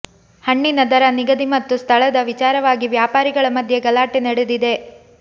ಹಣ್ಣಿನ ದರ ನಿಗದಿ ಮತ್ತು ಸ್ಥಳದ ವಿಚಾರವಾಗಿ ವ್ಯಾಪಾರಿಗಳ ಮಧ್ಯೆ ಗಲಾಟೆ ನಡೆದಿದೆ